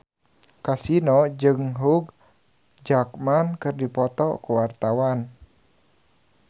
Kasino jeung Hugh Jackman keur dipoto ku wartawan